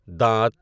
دانت